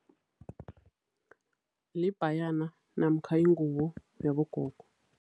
Libhayana namkha ingubo yabogogo.